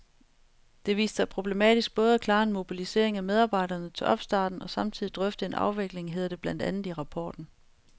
Det viste sig problematisk både at klare en mobilisering af medarbejderne til opstarten og samtidig drøfte en afvikling, hedder det blandt andet i rapporten.